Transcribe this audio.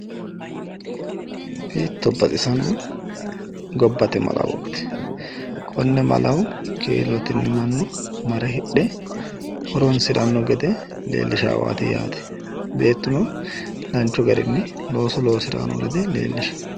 hiitto baxisanno gobbate malawooti! konne malawo kiilotenni mannu mare hidhe horoonsiranno gede leellishaawaati yaate. beettuno danchu garinni looso loosirayi noo gede leellishshawo.